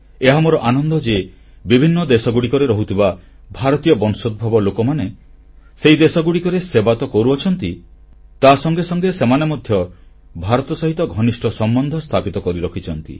ଏହା ମୋର ଆନନ୍ଦ ଯେ ବିଭିନ୍ନ ଦେଶରେ ରହୁଥିବା ଭାରତୀୟ ବଂଶୋଦ୍ଭବ ଲୋକମାନେ ସେହି ଦେଶଗୁଡ଼ିକର ସେବା ତ କରୁଛନ୍ତି ତାସଂଗେ ସଂଗେ ସେମାନେ ମଧ୍ୟ ଭାରତ ସହିତ ଘନିଷ୍ଠ ସମ୍ବନ୍ଧ ସ୍ଥାପିତ କରିରଖିଛନ୍ତି